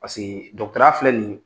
Pasekee ya filɛ nin ye